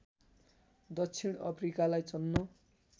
दक्षिण अफ्रिकालाई चल्न